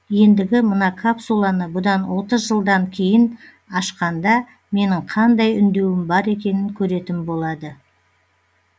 ендігі мына капсуланы бұдан отыз жылдан кейін ашқанда менің қандай үндеуім бар екенін көретін болады